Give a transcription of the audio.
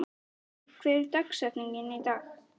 Matti, hver er dagsetningin í dag?